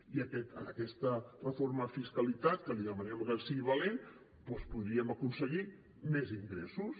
i en aquesta reforma de fiscalitat que li demanem que sigui valent doncs podríem aconseguir més ingressos